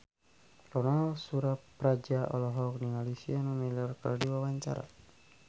Ronal Surapradja olohok ningali Sienna Miller keur diwawancara